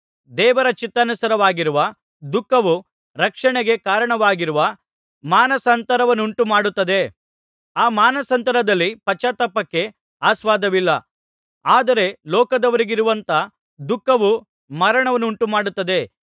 ದೇವರ ಚಿತ್ತಾನುಸಾರವಾಗಿರುವ ದುಃಖವು ರಕ್ಷಣೆಗೆ ಕಾರಣವಾಗುವ ಮಾನಸಾಂತರವನ್ನುಂಟು ಮಾಡುತ್ತದೆ ಆ ಮಾನಸಾಂತರದಲ್ಲಿ ಪಶ್ಚಾತ್ತಾಪಕ್ಕೆ ಆಸ್ಪದವಿಲ್ಲ ಆದರೆ ಲೋಕದವರಿಗಿರುವಂಥ ದುಃಖವು ಮರಣವನ್ನುಂಟುಮಾಡುತ್ತದೆ